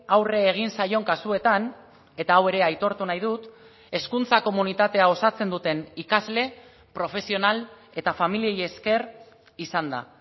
aurre egin zaion kasuetan eta hau ere aitortu nahi dut hezkuntza komunitatea osatzen duten ikasle profesional eta familiei ezker izan da